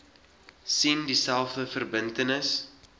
sien dieselfde verbintenis